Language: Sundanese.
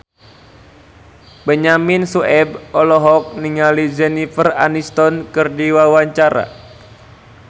Benyamin Sueb olohok ningali Jennifer Aniston keur diwawancara